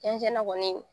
Cɛncɛn ŋɔni